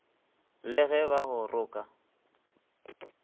le ge ba go roka